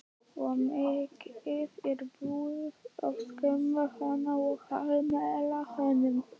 Og mikið er búið að skamma hann og hallmæla honum.